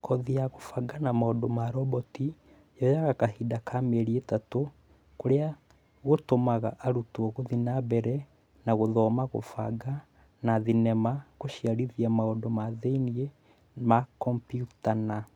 kothi ya kũbanga na maũndũ ma roboti yoaga kahinda kaa mïeriïtatũ kũrïa gũtũmaga arutwo gũthiï na mbere na gũthoma kũbanga, na thinema kũgacĩrithia maũndũ ma thïinĩ ma kombiuta na